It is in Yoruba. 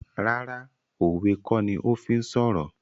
Rárá òwe kó ní o fí ń sọ̀rọ̀